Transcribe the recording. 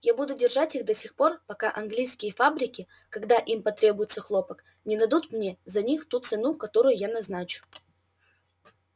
я буду держать их до тех пор пока английские фабрики когда им потребуется хлопок не дадут мне за них ту цену которую я назначу